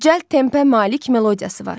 Cəld tempə malik melodiyası var.